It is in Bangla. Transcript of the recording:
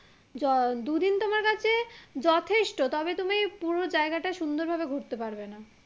যথেষ্ট তবে তুমি পুরো জায়গাটা সুন্দর ভাবে ঘুরতে পারবে না